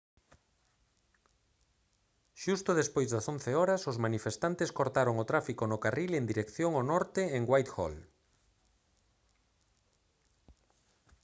xusto despois das 11:00 h os manifestantes cortaron o tráfico no carril en dirección ao norte en whitehall